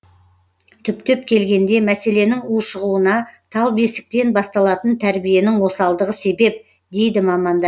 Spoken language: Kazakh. түптен келгенде мәселенің ушығуына тал бесіктен басталатын тәрбиенің осалдығы себеп дейді мамандар